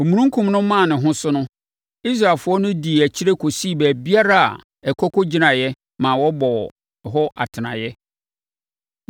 Omununkum no maa ne ho so no, Israelfoɔ no dii akyire kɔsii baabiara a ɛkɔ kɔgyinaeɛ ma wɔbɔɔ hɔ atenaeɛ.